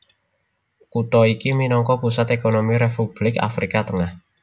Kutha iki minangka pusat ékonomi Republik Afrika Tengah